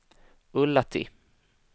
Ullatti